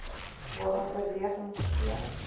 waaraan oorweging gegee